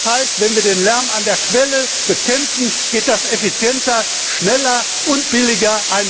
Das heißt, wenn wir den Lärm an der Quelle bekämpfen, geht das effizienter, schneller und billiger.